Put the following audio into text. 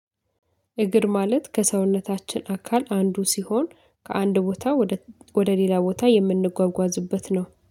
እግር ማለት ከሰውነታችን አካል አንዱ ሲሆን ከአንድ ቦታ ወደ ወደ ሌላ ቦታ የምንጓጓዝበት ነው